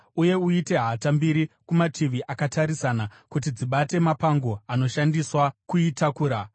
uye uite hata mbiri kumativi akatarisana. Kuti dzibate mapango anoshandiswa kuitakura.